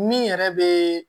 Min yɛrɛ be